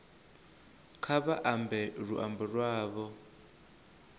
kha vha ambe luambo lwavho